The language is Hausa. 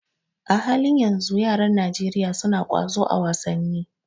A halin yanzu, yaran Najeriya suna ƙwazo a wasanni.